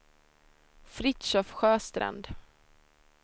Fritiof Sjöstrand